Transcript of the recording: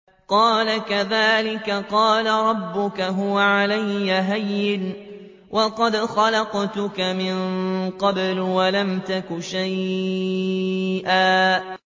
قَالَ كَذَٰلِكَ قَالَ رَبُّكَ هُوَ عَلَيَّ هَيِّنٌ وَقَدْ خَلَقْتُكَ مِن قَبْلُ وَلَمْ تَكُ شَيْئًا